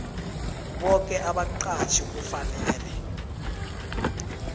boke abaqatjhi kufanele